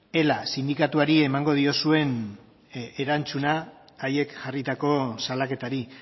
ela sindikatuari emango diozuen erantzuna haiek jarritako salaketari